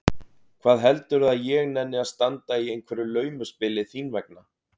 Hvað heldurðu að ég nenni að standa í einhverju laumuspili þín vegna?